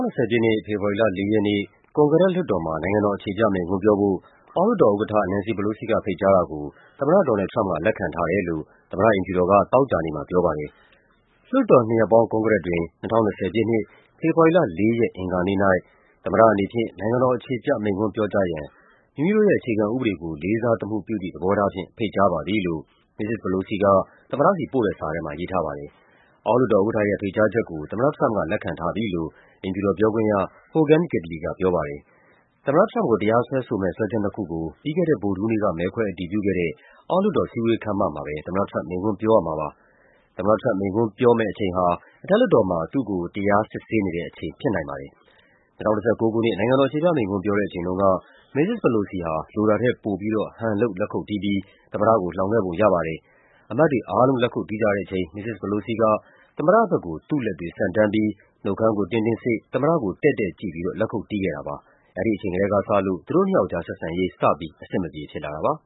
နှစ်၊ ဖေဖော်ဝါရီလ ၄ ရက်နေ့ ကွန်ဂရက် လွှတ်တော်မှာ နိုင်ငံတော် အခြေပြမိန့်ခွန်းပြောဖို့ အောက်လွှတ်တော်ဥက္ကဋ္ဌ Nancy Pelosi က ဖိတ်ကြားတာကို သမ္မတ ဒေါ်နယ်လ်ဒ် ထရမ့်ပ်က လက်ခံထားတယ်လို့ သမ္မတအိမ်ဖြူတော်က သောကြာနေ့ မှာပြောပါတယ်။ “လွှတ်တော်နှစ်ရပ်ပေါင်း ကွန်ဂရက်တွင် ၂၀၂၀ ပြည့်နှစ်၊ ဖေဖော်ဝါရီလ ၄ ရက် အင်္ဂါနေ့၌ သမ္မတအနေဖြင့် နိုင်ငံတော်အခြေပြ မိန့်ခွန်းပြောကြားရန် မိမိတို့ရဲ့ အခြေခံဥပဒေကို လေးစားသမှုပြုသည့် သဘောထားဖြင့် ဖိတ်ကြားပါသည်” လို့ မစ္စစ် Pelosi က သမ္မတဆီပို့တဲ့ စာထဲမှာ ရေးထားပါတယ်။ အောက်လွှတ်တော်ဥက္ကဋ္ဌရဲ့ ဖိတ်ကြားချက်ကို သမ္မတထရမ့်ပ်က လက်ခံထားပြီလို့ အိမ်ဖြူတော်ပြောခွင့်ရ Hogan Gidley က ပြောပါတယ်။ သမ္မတထရမ့်ပ်ကို တရားစွဲဆိုမယ့် စွဲချက်နှစ်ခုကို ပြီးခဲ့တဲ့ ဗုဒ္ဓဟူးနေ့က မဲခွဲအတည်ပြုခဲ့တဲ့ အောက်လွှတ်တော် စည်းဝေးခန်းမမှာ ပဲ သမ္မတထရမ့်ပ် မိန့်ခွန်းပြောရမှာပါ။ ၂၀၁၉ ခုနှစ်၊ နိုင်ငံတော်အခြေပြမိန့်ခွန်း ပြောတဲ့အချိန်တုန်းက မစ္စစ် Pelosi ဟာ လိုတာထက်ပိုပြီးတော့ ဟန်လုပ် လက်ခုပ်တီးပြီး သမ္မတကို လှောင်ခဲ့ပုံရပါတယ်။ အမတ်တွေအားလုံး လက်ခုပ်တီးကြတဲ့အချိန် မစ္စစ် Pelosi က သမ္မတဘက်ကို သူ့လက်တွေဆန့် တန်းပြီး နှုတ်ခမ်းကို တင်းတင်းစေ့ သမ္မတကို တည့်တည့်ကြည့်ပြီးတော့ လက်ခုပ်တီးခဲ့တာဖြစ်ပါတယ်။ အဲဒီအချိန်ကတည်းကစလို့ သူတို့နှစ်ယောက်ကြား ဆက်ဆံရေး စပြီး အဆင်မပြေဖြစ်လာတာပါ